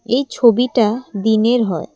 এই ছবিটা দিনের হয় ।